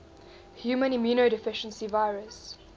human immunodeficiency virus